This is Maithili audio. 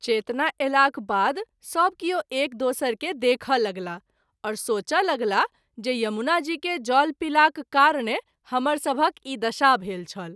चेतना अयलाक बाद सभ किओ एक दोसर के देखय लगलाह आओर सोचय लगलाह जे यमुना जी के जल पीलाक कारणे हमर सभहक ई दशा भेल छल।